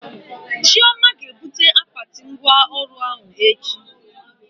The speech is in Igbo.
Chioma ga ebute akpati ngwa ọrụ ahụ echi